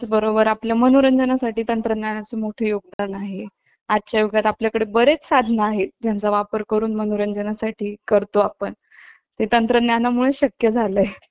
बरोबर आपल्या मनोरंजनासाठी तंत्रज्ञानाचे मोठे योगदान आहे त्या युगात आपल्याकडे बरेच साधन आहेत ज्यांचा वापर करून मनोरंजनासाठी तो आपण हे तंत्रज्ञानामुळेच शक्य झालं आहे